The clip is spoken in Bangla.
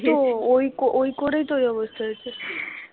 ওই তো ওই করেই তো এই অবস্থা হয়েছে